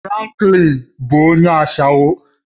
Franklin bụ onye ashawo